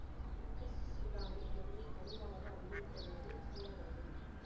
தெற்கு சூடானை முதலில் தனிநாடாக அங்கீகரித்த நாடு சூடான் ஆகும்